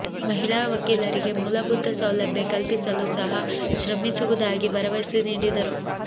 ಮಹಿಳಾ ವಕೀಲರಿಗೆ ಮೂಲಭೂತ ಸೌಲಭ್ಯ ಕಲ್ಪಿಸಲು ಸಹ ಶ್ರಮಿಸುವುದಾಗಿ ಭರವಸೆ ನೀಡಿದರು